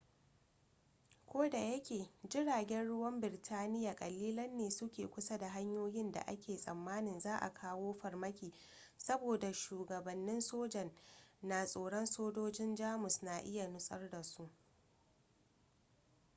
kodayake jiragen ruwan birtaniya kalilan ne su ke kusa da hanyoyin da ake tsammanin za'a kawo farmaki saboda shugabannin sojan na tsoron sojojin jamus na iya nutsar da su